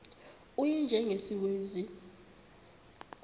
u y njengesiwezi